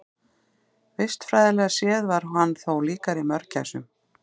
Vistfræðilega séð var hann þó líkari mörgæsum.